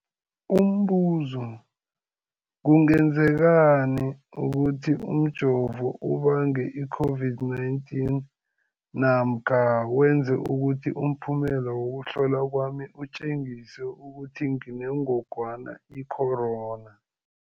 Umbuzo, kungenzekana ukuthi umjovo ubange i-COVID-19 namkha wenze ukuthi umphumela wokuhlolwa kwami utjengise ukuthi nginengogwana i-corona?